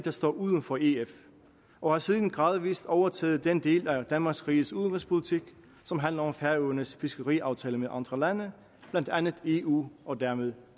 at stå uden for ef og har siden gradvist overtaget den del af danmarks riges udenrigspolitik som handler om færøernes fiskeriaftaler med andre lande blandt andet eu og dermed